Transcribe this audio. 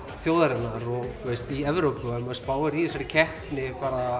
þjóðarinnar og þú veist í Evrópu og ef maður spáir í þessari keppni